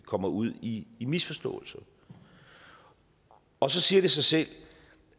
kommer ud i misforståelser og så siger det sig selv